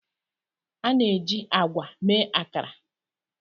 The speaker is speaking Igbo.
A na-eji agwa mee Akara.